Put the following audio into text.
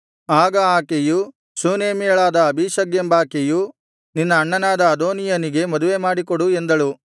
ಆಗ ಆಕೆಯು ಶೂನೇಮ್ಯಳಾದ ಅಬೀಷಗ್ ಎಂಬಾಕೆಯು ನಿನ್ನ ಅಣ್ಣನಾದ ಅದೋನೀಯನಿಗೆ ಮದುವೆ ಮಾಡಿಕೊಡು ಎಂದಳು